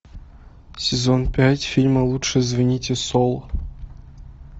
сезон пять фильма лучше звоните солу